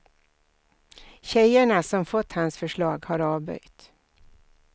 Tjejerna som fått hans förslag har avböjt.